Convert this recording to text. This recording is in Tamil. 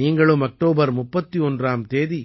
நீங்களும் அக்டோபர் 31ஆம் தேதி